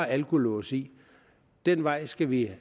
alkolås i den vej skal vi